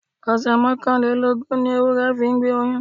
Ọ̀sẹ̀ mọ́kànlélógún ni ewúrẹ́ fi ń gbé oyún.